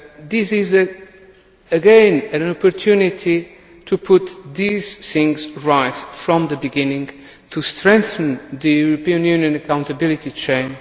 This is again an opportunity to put these things right from the beginning and to strengthen the EU accountability chain.